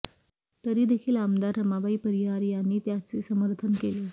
तरी देखील आमदार रमाबाई परिहार यांनी त्याचे समर्थन केले